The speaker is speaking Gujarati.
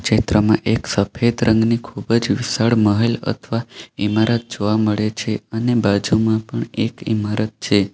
ચિત્રમાં એક સફેદ રંગની ખૂબ જ મહેલ અથવા ઈમારત જોવા મળે છે અને બાજુમાં પણ એક ઇમારત છે.